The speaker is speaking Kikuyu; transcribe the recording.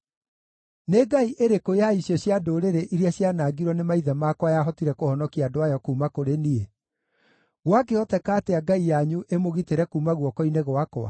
Nĩ ngai ĩrĩkũ ya icio cia ndũrĩrĩ iria cianangirwo nĩ maithe makwa yahotire kũhonokia andũ ayo kuuma kũrĩ niĩ? Gwakĩhoteka atĩa ngai yanyu ĩmũgitĩre kuuma guoko-inĩ gwakwa?